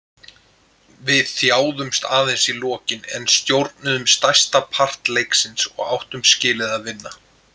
Við þjáðumst aðeins í lokin en stjórnuðum stærsta part leiksins og áttum skilið að vinna.